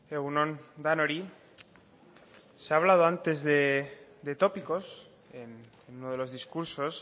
egun on denoi se ha hablado antes de tópicos en uno de los discursos